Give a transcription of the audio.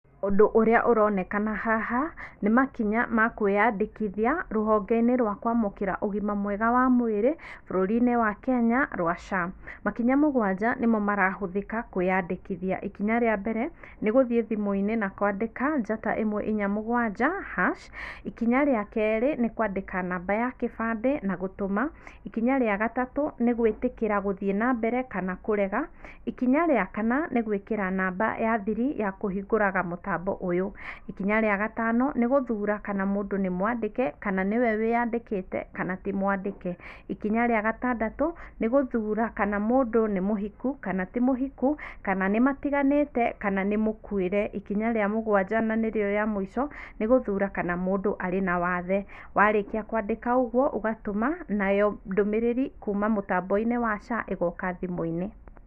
Ũndũ ũrĩa ũronekana haha nĩ makinya ma kwĩyandĩkithia rũhonge -inĩ rwa kwamũkĩra ũgima mwega wa mwĩrĩ bũrũri -inĩ wa Kenya rwa SHA, makinya mũgwanja nĩmo marahũthĩka kwĩyandĩkithia, ikinya rĩa mbere nĩgũthiĩ thimũ-inĩ na kwandĩka njata ĩmwe inya mũgwanja hash, ikinya rĩa kerĩ nĩ kwandĩka namba ya kĩbandĩ na gũtũma ikinya rĩa gatatũ nĩ gwĩtĩkĩra gũthiĩ na mbere kana kũrega, ikinya rĩa kana nĩ gwĩkĩra namba ya thiri ta kũhingũraga mũtambo ũyũ, ikinya rĩa gatano nĩ gũthura kana mũndũ nĩ mwandĩke kana nĩwe wĩyandĩkĩte kana ti mwandĩke, ikinya rĩa gatandatũ nĩ gũthura kana mũndũ nĩ mũhiku kana ti mũhiku kana nĩ matiganĩte kana nĩ mũkuĩre ikinya rĩa mũgwanja na nĩrĩo rĩa mũico nĩ gũthura kana mũndũ arĩ na wathe, warĩkia kwandĩka ũguo ũgatũma nayo ndũmĩrĩri kuma mũtambo-inĩ wa SHA ĩgoka thimũ-inĩ.